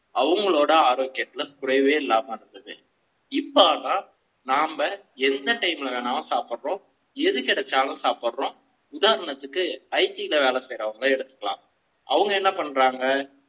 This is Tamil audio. அவங்க ளோட ஆரோக்கிய த்துல குறை வே இல்லாம இருந்தது. இப்ப ஆனா நாம எந்த time ல நாம் சாப்பிடும் எது கிடைச்சாலும் சாப்பிடுறோம் IT ல உதாரணத்துக்கு வேலை செய்றவங்க எடுத்துக்கலாம்